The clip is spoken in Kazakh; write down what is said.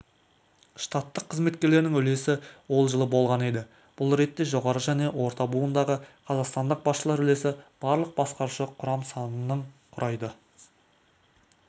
штаттық қызметкерлерінің үлесі ол жылы болған еді бұл ретте жоғары және орта буындағы қазақстандық басшылар үлесі барлық басқарушы құрам санының құрайды